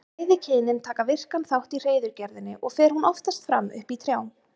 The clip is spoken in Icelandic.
Bæði kynin taka virkan þátt í hreiðurgerðinni og fer hún oftast fram uppi í trjám.